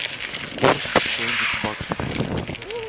курс биткоина к баксу